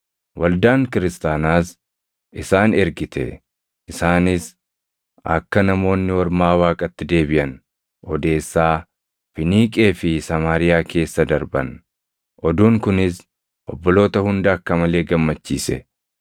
Waldaan kiristaanaas isaan ergite; isaanis akka Namoonni Ormaa Waaqatti deebiʼan odeessaa Finiiqee fi Samaariyaa keessa darban. Oduun kunis obboloota hunda akka malee gammachiise.